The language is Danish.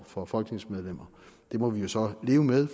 for folketingsmedlemmer det må vi så leve med